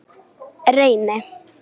Reyni